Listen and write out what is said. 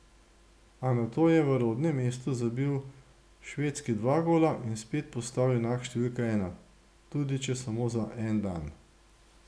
A nato je v rodnem mestu zabil Švedski dva gola in spet postal junak številka ena, tudi če samo za en dan.